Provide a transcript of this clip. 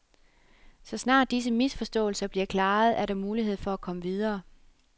Så snart disse misforståelser bliver klaret, er der mulighed for at komme videre.